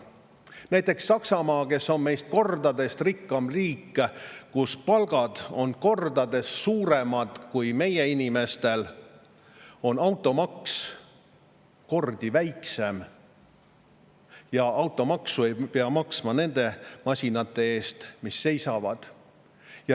Näiteks Saksamaa on meist kordades rikkam riik, palgad on seal kordades suuremad kui meie inimestel, aga automaks on kordi väiksem ja automaksu ei pea maksma nende masinate eest, mis seisavad.